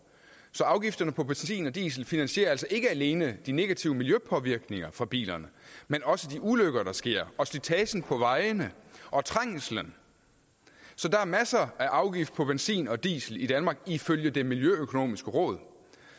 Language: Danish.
så afgifterne på benzin og diesel finansierer altså ikke alene de negative miljøpåvirkninger fra bilerne men også de ulykker der sker og slitagen på vejene og trængslen så der er masser af afgifter på benzin og diesel i danmark ifølge det miljøøkonomiske råd